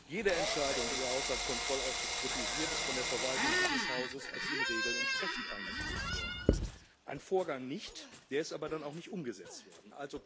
Jede Entscheidung, die der Haushaltskontrollausschuss kritisiert, ist von der Verwaltung dieses Hauses als den Regeln entsprechend eingestuft wurden. Ein Vorgang nicht der ist aber dann auch nicht umgesetzt worden.